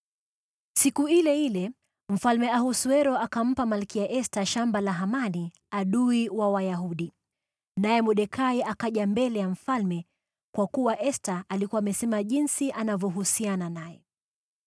Siku ile ile Mfalme Ahasuero akampa Malkia Esta shamba la Hamani, adui wa Wayahudi. Naye Mordekai akaja mbele ya mfalme, kwa kuwa Esta alikuwa amesema jinsi anavyohusiana naye.